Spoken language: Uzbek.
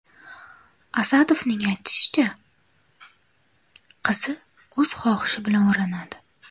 Asadovning aytishicha, qizi o‘z xohishi bilan o‘ranadi.